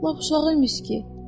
Lap uşağı imiş ki.